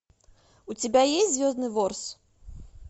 у тебя есть звездный ворс